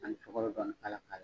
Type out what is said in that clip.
Ani sukaro dɔɔni k'a la .